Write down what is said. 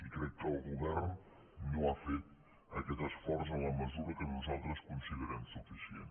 i crec que el govern no ha fet aquest esforç en la mesura que nosaltres considerem suficient